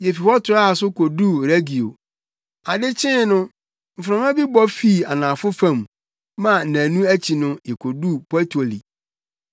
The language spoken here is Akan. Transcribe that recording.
Yefi hɔ toaa so koduu Regio. Ade kyee no, mframa bi bɔ fii anafo fam ma nnaanu akyi no yekoduu Puteoli.